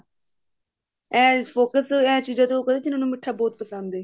ਇਸ focus ਇਹ ਚੀਜ਼ਾਂ ਤੇ ਉਹ ਜਿਨ੍ਹਾ ਨੂੰ ਮਿੱਠਾ ਬਹੁਤ ਪਸੰਦ ਹੈ